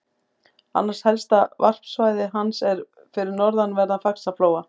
Annað helsta varpsvæði hans er við norðanverðan Faxaflóa.